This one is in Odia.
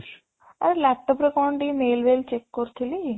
ଆଉ laptop ରେ କ'ଣ ଟିକେ mail check କରୁଥିଲି